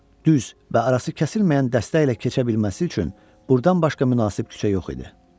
düz və arası kəsilməyən dəstə ilə keçə bilməsi üçün burdan başqa münasib küçə yox idi.